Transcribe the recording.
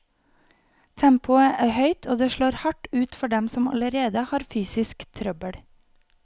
Tempoet er høyt, og det slår hardt ut for dem som allerede har fysisk trøbbel.